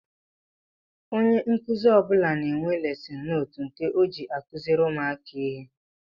Ónyé nkụzi ọbula na-enwe lesin nóótu nke ọ jị akuziri ụmụaka ihe.